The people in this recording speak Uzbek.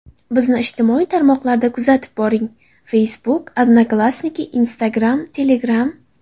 Bizni ijtimoiy tarmoqlarda kuzatib boring: Facebook , Odnoklassniki , Instagram , Telegram .